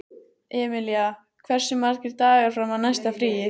Emilía, hversu margir dagar fram að næsta fríi?